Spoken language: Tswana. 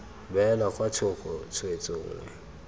beelwa kwa thoko tshwetso nngwe